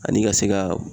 Ani ka se ka